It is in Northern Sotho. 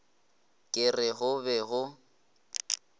ke re go be go